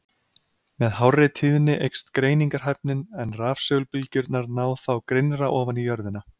Með hárri tíðni eykst greiningarhæfnin, en rafsegulbylgjurnar ná þá grynnra ofan í jörðina.